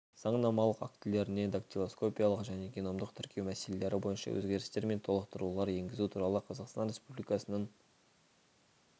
заңнамалық актілеріне дактилоскопиялық және геномдық тіркеу мәселелері бойынша өзгерістер мен толықтырулар енгізу туралы қазақстан республикасының